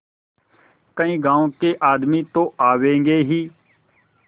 कई गाँव के आदमी तो आवेंगे ही